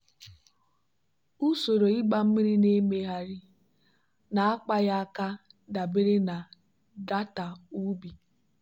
usoro ịgba mmiri na-emegharị na-akpaghị aka dabere na data ubi.